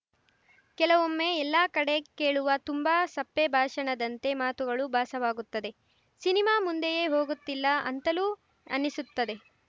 ಕೆಲವೊಮ್ಮೆ ಎಲ್ಲಾ ಕಡೆ ಕೇಳುವ ತುಂಬಾ ಸಪ್ಪೆ ಭಾಷಣದಂತೆ ಮಾತುಗಳು ಭಾಸವಾಗುತ್ತದೆ ಸಿನಿಮಾ ಮುಂದೆಯೇ ಹೋಗುತ್ತಿಲ್ಲ ಅಂತಲೂ ಅನ್ನಿಸುತ್ತದೆ